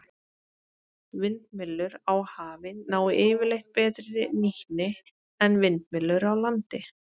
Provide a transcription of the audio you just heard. Vindmyllur á hafi ná yfirleitt betri nýtni en vindmyllur á landi.